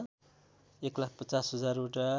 एकलाख ५० हजारवटा